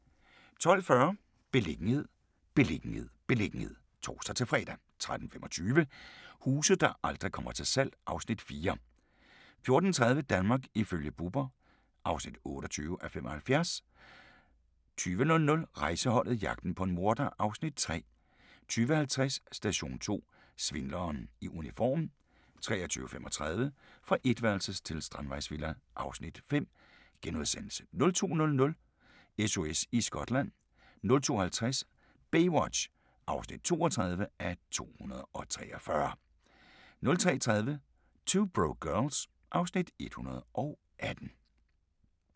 12:40: Beliggenhed, beliggenhed, beliggenhed (tor-fre) 13:25: Huse der aldrig kommer til salg (Afs. 4) 14:30: Danmark ifølge Bubber (28:75) 20:00: Rejseholdet - jagten på en morder (Afs. 3) 20:50: Station 2: Svindleren i uniform 23:35: Fra etværelses til strandvejsvilla (Afs. 5)* 02:00: SOS i Skotland 02:50: Baywatch (32:243) 03:30: 2 Broke Girls (Afs. 118)